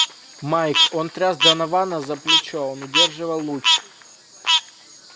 майк он тряс донована за плечо он удерживал луч